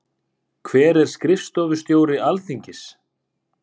Hver er skrifstofustjóri Alþingis?